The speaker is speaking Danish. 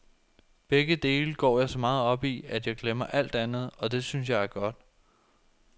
Begge dele går jeg så meget op i, at jeg glemmer alt andet, og det synes jeg er godt.